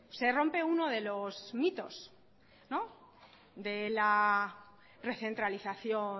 se rompe uno de los mitos la recentralización